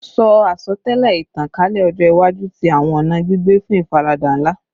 Ṣe asọtẹlẹ itankalẹ ọjọ iwaju ti awọn ọna gbigbe fun ifarada nla